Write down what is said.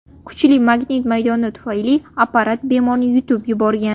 Kuchli magnit maydoni tufayli apparat bemorni yutib yuborgan.